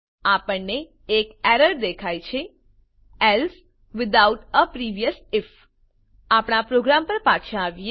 આપણને એક એરર દેખાય છે else without a previous IF આપણા પ્રોગ્રામ પર પાછા આવીએ